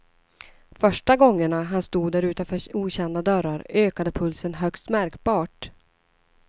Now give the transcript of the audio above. Första gångerna han stod där utanför okända dörrar ökade pulsen högst märkbart.